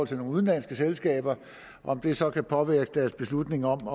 til nogle udenlandske selskaber om det så kan påvirke deres beslutning om